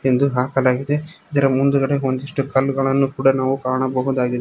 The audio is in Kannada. ಎಂದು ಹಾಕಲಾಗಿದೆ ಇದರ ಮುಂದ್ಗಡೆ ಒಂದಿಷ್ಟು ಕಲ್ಲುಗಳನ್ನು ಕೂಡ ನಾವು ಕಾಣಬಹುದಾಗಿದೆ.